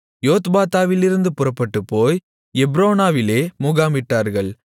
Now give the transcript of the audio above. யோத்பாத்தாவிலிருந்து புறப்பட்டுப்போய் எப்ரோனாவிலே முகாமிட்டார்கள்